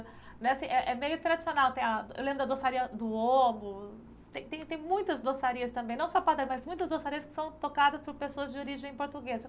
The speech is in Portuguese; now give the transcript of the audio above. Né assim é, é meio tradicional, tem a, eu lembro da doçaria do, tem tem tem muitas doçarias também, não só padaria, mas muitas doçarias que são tocadas por pessoas de origem portuguesa.